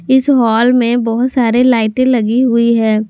इस हॉल में बहोत सारे लाइटें लगी हुई है।